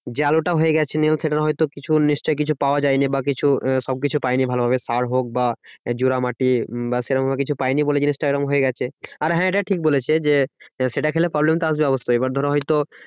যে আলুটা হয়ে গেছে নিয়ে সেটার হয়তো কিছু নিশ্চই কিছু পাওয়া যায়নি। বা কিছু সবকিছু পায়নি ভালোভাবে সার হোক বা জোড়া মাটি বা সেরমভাবে কিছু পায়নি বলে জিনিসটা এরম হয়ে গেছে। আর হ্যাঁ এটা ঠিক বলেছে যে, সেটা খেলে problem টা আসবে অবশ্যই মানে ধর হয়তো